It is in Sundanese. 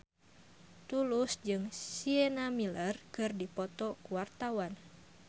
Tulus jeung Sienna Miller keur dipoto ku wartawan